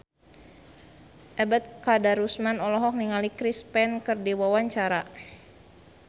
Ebet Kadarusman olohok ningali Chris Pane keur diwawancara